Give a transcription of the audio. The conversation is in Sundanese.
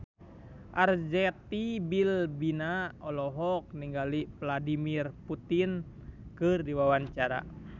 Arzetti Bilbina olohok ningali Vladimir Putin keur diwawancara